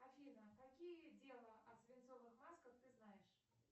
афина какие дела о свинцовых масках ты знаешь